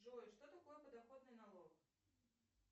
джой что такое подоходный налог